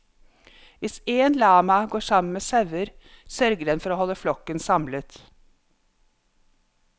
Hvis én lama går sammen med sauer, sørger den for å holde flokken samlet.